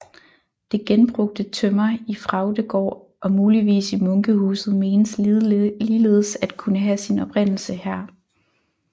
Det genbrugte tømmer i Fraugdegaard og muligvis i munkehuset menes ligeledes at kunne have sin oprindelse her